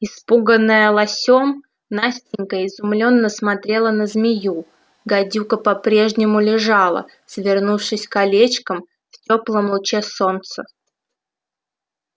испуганная лосём настенька изумлённо смотрела на змею гадюка по-прежнему лежала свернувшись колечком в тёплом луче солнца